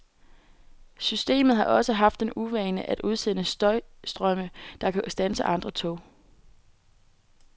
Systemet har også haft den uvane at udsende støjstrømme, der kan standse andre tog.